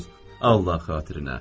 Allah xatirinə.